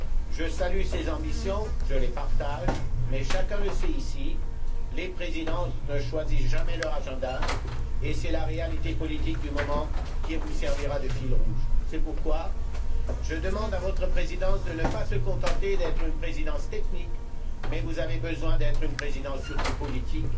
Je salue ces ambitions, je les partage, mais comme chacun le sait ici, les présidences ne choisissent jamais leur agenda et c'est la réalité politique du moment qui vous servira de fil rouge. C'est pourquoi je demande à votre Présidence de ne pas se contenter d'être une présidence technique vous devez être une présidence surtout politique,